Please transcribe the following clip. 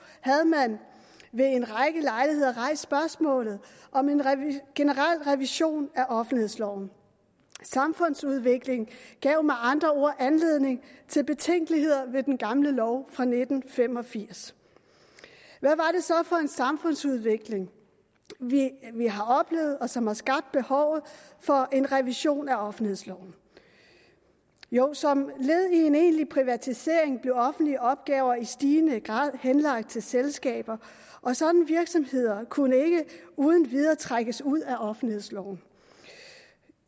havde man ved en række lejligheder rejst spørgsmålet om en generel revision af offentlighedsloven samfundsudviklingen gav med andre ord anledning til betænkeligheder ved den gamle lov fra nitten fem og firs hvad er det så for en samfundsudvikling vi har oplevet og som har skabt behovet for en revision af offentlighedsloven jo som led i en egentlig privatisering blev offentlige opgaver i stigende grad henlagt til selskaber og sådanne virksomheder kunne ikke uden videre trækkes ud af offentlighedsloven